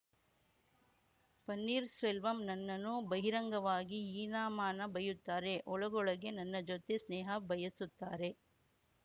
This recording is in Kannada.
ಪನ್ನೀರ್ ಸೆಲ್ವಂ ನನ್ನನ್ನು ಬಹಿರಂಗವಾಗಿ ಹೀನಾಮಾನಾ ಬೈಯುತ್ತಾರೆ ಒಳಗೊಳಗೆ ನನ್ನ ಜತೆ ಸ್ನೇಹ ಬಯಸುತ್ತಾರೆ